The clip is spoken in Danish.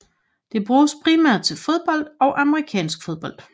Det bruges primært til fodbold og amerikansk fodbold